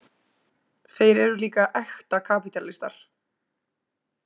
Þeir eru líka ekta kapítalistar.